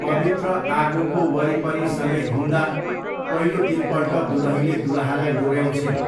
पवित्र आगोको वरिपरि सँगै घुम्दा पहिलो तिनपल्ट दुलहीले दुलहालाई डोऱ्याउँछिन्।